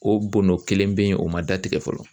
O bɔndɔ kelen bɛ yen o ma datigɛ fɔlɔ.